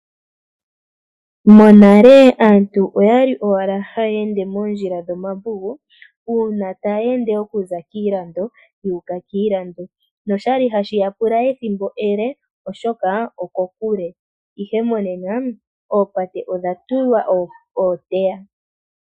Monale aantu oya li owala haya ende moondjila dho mavugu uuna taya ende okuza kiilando yuka kiilando noshali hashi ya pula ethimbo ele ,oshoka oko kule ihe monena oopate odha tulwa ooteya